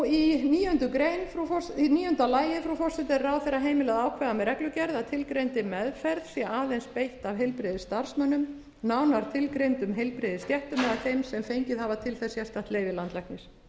í níunda lagi frú forseti er ráðherra heimilað að ákveða með reglugerð að tilgreindri meðferð sé aðeins beitt af heilbrigðisstarfsmönnum nánar tilgreindum heilbrigðisstéttum eða þeim sem fengið hafa til þess sérstakt leyfi landlæknis